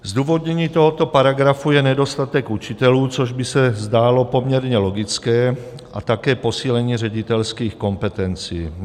Zdůvodněním tohoto paragrafu je nedostatek učitelů, což by se zdálo poměrně logické, a také posílení ředitelských kompetencí.